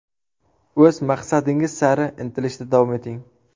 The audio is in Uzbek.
O‘z maqsadingiz sari intilishda davom eting.